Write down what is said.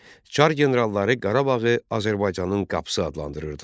Çar generalları Qarabağı Azərbaycanın qapısı adlandırırdılar.